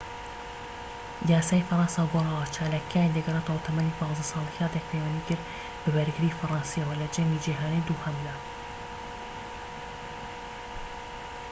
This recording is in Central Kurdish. یاسای فەرەنسا گۆڕاوە. چالاکیەکانی دەگەڕێتەوە تەمەنی ١٥ ساڵی کاتێك پەیوەندی کرد بە بەرگریی فەرەنسییەوە لە جەنگی جیهانیی دووهەمدا